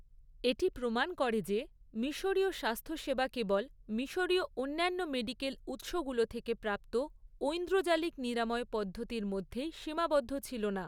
এটি প্রমাণ করে যে মিশরীয় স্বাস্থ্য সেবা কেবল মিশরীয় অন্যান্য মেডিকেল উৎসগুলো থেকে প্রাপ্ত ঐন্দ্রজালিক নিরাময় পদ্ধতির মধ্যেই সীমাবদ্ধ ছিল না।